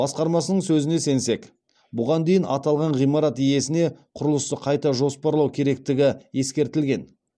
басқармасының сөзіне сенсек бұған дейін аталған ғимарат иесіне құрылысты қайта жоспарлау керектігі ескертілген